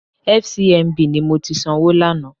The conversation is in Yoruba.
FCMB ni mo ti sanwó lánàá.